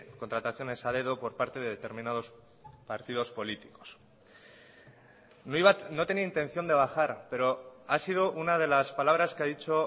contrataciones a dedo por parte de determinados partidos políticos no tenía intención de bajar pero ha sido una de las palabras que ha dicho